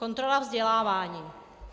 Kontrola vzdělávání.